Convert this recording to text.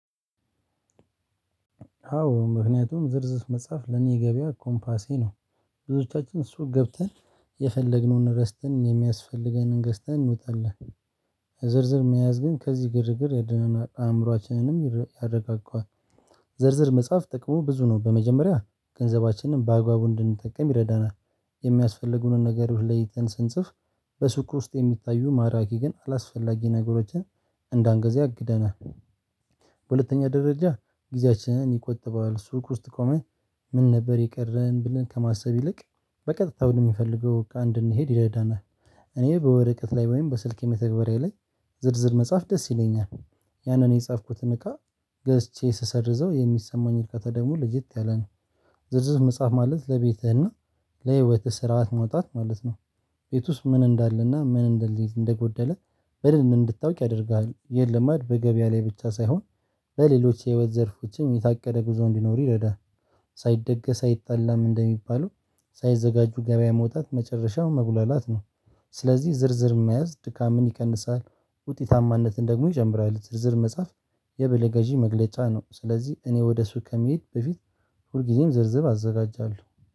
አዎ ምክንያቱም ዝርዝር መጽሐፍ ለኔ ገበያ ኮምፓሴ ነው። ብዙዎቻችን ሱቅ ገብተን የፈለግነውን ረስተን የሚያስፈልገንን ገዝተን እንውጣለን። የዝርዝር መያዝ ግን ከዚህ ግርግር ያድነናል አእምሮአችንንም ያረጋጋዋል። ዝርዝር መጽሐፍ ጥቅሙ ብዙ ነው። በመጀመሪያ ገንዘባችንን በአግባቡ እንድንጠቀም ይረዳናል። የሚያስፈልጉንን ነገሮች ለይተን ስንጽፍ በስኩር ውስጥ የሚታዩ ማራኪ ግን አላስፈላጊ ነገሮችን እንደ አንገዚያ አግደናል። በሁለተኛ ደረጃ ጊዜያችንን ይቆጥበዋል። ሱቅ ውስጥ ቆመን ምን ነበር የቀረን ብለን ከማሰብ ይልቅ በቀጥታ ብሎ ወደሚፈልገው እቃ እንድንሄድ ይረዳናል። እኔ በወረቀት ላይ ወይም በስልኬ መተግበሪያ ላይ ዝርዝር መጽሐፍ ደስ ይለኛል። ያንን የጻፍኩትን እቃ ገዝቼ ስሰርዘው የሚሰማኝ እቃ ደሞ ለየት ያለ ነው። ዝርዝር መጽሐፍ ማለት ለቤትህና ለህይወትህ ስርዓት መውጣት ማለት ነው። ቤት ውስጥ ምን እንዳለና ምን እንደልሂድ እንደጎደለ በደንብ እንድታውቅ ያደርግሃል። የለም ማለት በገበያ ላይ ብቻ ሳይሆን በሌሎች የህይወት ዘርፎችም የታቀደ ጉዞ እንዲኖር ይረዳል። ሳይደገስ አይጣላም እንደሚባለው ሳይዘጋጁ ገበያ መውጣት መጨረሻው መጉላላት ነው። ስለዚህ ዝርዝር መያዝ ድካምን ይቀንሳል ውጤታማነትን ደግሞ ይጨምራል። ዝርዝር መጽሐፍ የበለገዢ መግለጫ ነው። ስለዚህ እኔ ወደ ሱቅ ከመሄድ በፊት ሁልጊዜም ዝርዝብ አዘጋጃለሁ።